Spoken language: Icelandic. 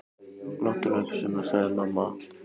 Láttu nú ekki svona. sagði amma.